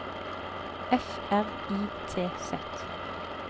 F R I T Z